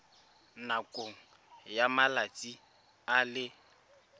nakong ya malatsi a le